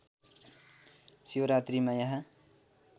शिवरात्रीमा यहाँ